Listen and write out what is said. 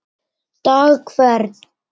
dag hvern